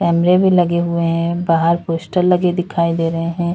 कैमरे भी लगे हुए हैं बाहर पोस्टर भी लगे दिखाई दे रहे हैं।